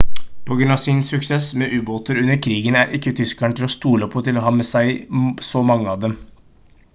på grunn av sin suksess med ubåter under krigen er ikke tyskerne til å stole på til å ha så mange av dem